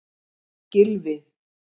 Gylfi